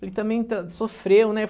Ele também sofreu, né?